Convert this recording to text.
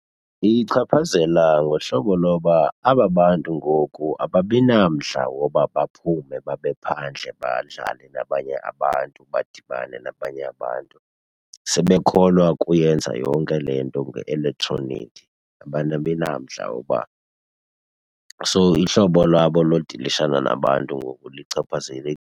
Uyichaphazela ngohlobo loba aba bantu ngoku ababi namdla woba baphume babe phandle badlale nabanye abantu, badibane nabanye abantu. Sebekholwa kuyenza yonke le nto nge-elektroniki, abanabi namdla woba, so ihlobo lwabo lodilishana nabantu ngoku .